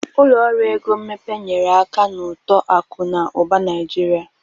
Ụlọ ọrụ ego mmepe nyere aka n'uto akụ na ụba Naịjirịa.